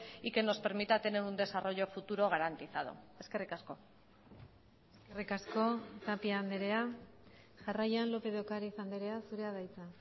y que nos permita tener un desarrollo futuro garantizado eskerrik asko eskerrik asko tapia andrea jarraian lópez de ocariz andrea zurea da hitza